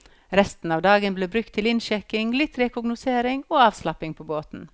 Resten av dagen ble brukt til innsjekking, litt rekognosering og avslapping på båten.